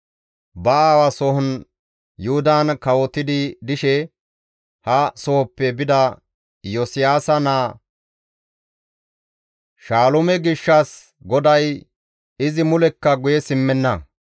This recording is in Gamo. Ba aawa sohon Yuhudan kawotidi dishe ha sohoppe bida Iyosiyaasa naa Shaalume gishshas GODAY, «Izi mulekka guye simmenna.